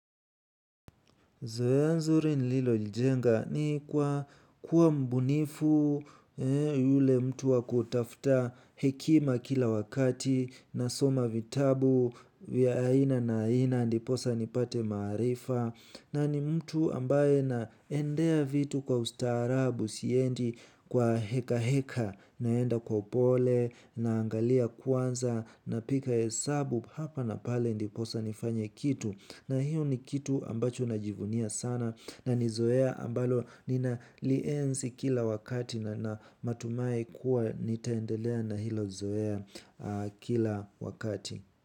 Zoea nzuri nililolijenga ni kwa kuwa mbunifu yule mtu wakutafuta hekima kila wakati nasoma vitabu vya aina na aina ndiposa nipate maarifa na ni mtu ambaye naendea vitu kwa ustaarabu, siendi kwa heka heka, naenda kwa upole naangalia kwanza, nagika hesabu hapa na pale ndiposa nifanye kitu, na hiyo ni kitu ambacho najivunia sana na nizoea ambalo ninalienzi kila wakati na natumai kuwa nitaendelea na hilo zoea kila wakati.